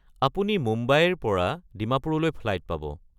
আপুনি মুম্বাইৰ পৰা ডিমাপুৰলৈ ফ্লাইট পাব।